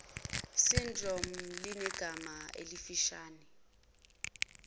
syndrome linegama elifushane